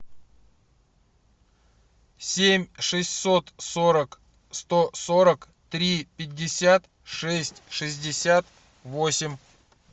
семь шестьсот сорок сто сорок три пятьдесят шесть шестьдесят восемь